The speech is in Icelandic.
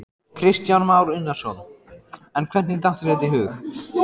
Kristján Már Unnarsson: En hvernig datt þér þetta í hug?